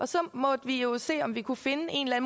så måtte vi jo se om vi kunne finde en og